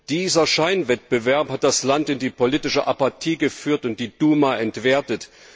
Dieser Scheinwettbewerb hat das Land in die politische Apathie geführt und die Duma entwertet.